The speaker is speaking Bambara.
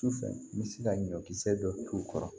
Sufɛ n bɛ se ka ɲɔkisɛ dɔ t'u kɔrɔ